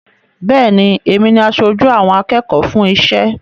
Bẹ́ẹ̀ ni, èmi ni aṣojú àwọn akẹ́kọ̀ọ́ fún iṣẹ́.